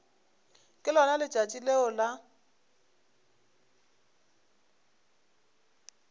ke lona letšatši leo la